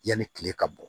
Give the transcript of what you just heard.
Yanni kile ka bɔ